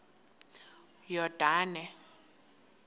yordane